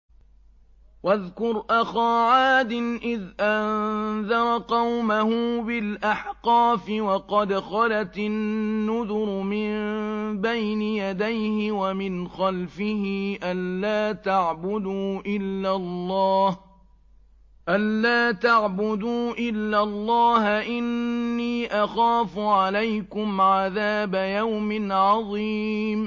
۞ وَاذْكُرْ أَخَا عَادٍ إِذْ أَنذَرَ قَوْمَهُ بِالْأَحْقَافِ وَقَدْ خَلَتِ النُّذُرُ مِن بَيْنِ يَدَيْهِ وَمِنْ خَلْفِهِ أَلَّا تَعْبُدُوا إِلَّا اللَّهَ إِنِّي أَخَافُ عَلَيْكُمْ عَذَابَ يَوْمٍ عَظِيمٍ